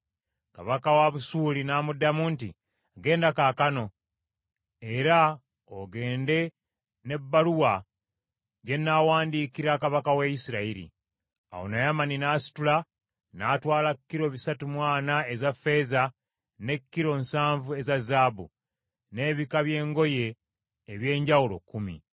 Kabaka wa Busuuli n’amuddamu nti, “Genda kaakano, era ogende n’ebbaluwa gye nnaawandiikira kabaka wa Isirayiri .” Awo Naamani n’asitula, n’atwala kilo bisatu mu ana eza ffeeza, ne kilo nsanvu eza zaabu, n’ebika by’engoye eby’enjawulo kkumi.